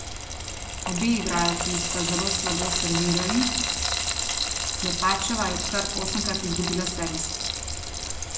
Obe igralki sta zelo slabo servirali, Klepačeva je kar osemkrat izgubila servis.